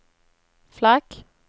flagg